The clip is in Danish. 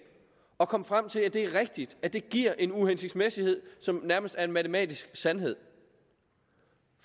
og kom frem til at det er rigtigt at det giver en uhensigtsmæssighed som nærmest er en matematisk sandhed